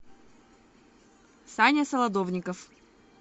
саня солодовников